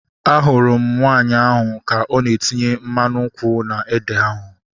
Ahụrụ m nwaanyị ahu ka ọ na-etinye mmanụ nkwụ na ede ahu